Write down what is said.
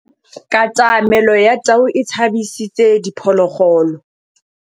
Katamêlô ya tau e tshabisitse diphôlôgôlô.